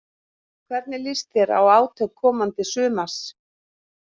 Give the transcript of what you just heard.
Hvernig líst þér á átök komandi sumars?